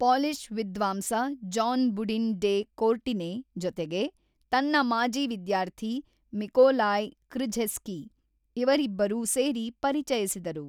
Polish ವಿಧ್ವಾಂಸ Jan Baudouin de Courtenay ಜೊತೆಗೆ ತನ್ನ ಮಾಜಿ ವಿಧ್ಯಾರ್ಥಿ ಮಿಕೋಲಾಯ್ ಕೃಝೆಸ್ಕಿ ಇವರಿಬ್ಬರೂ ಸೇರಿ ಪರಿಚಯಿಸಿದರು.